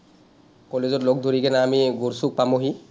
college ত লগ ধৰি কিনে আমি গড়চুক পামহি।